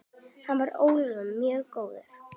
Hann var öllum mjög góður.